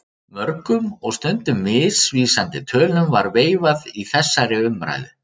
Mörgum og stundum misvísandi tölum var veifað í þessari umræðu.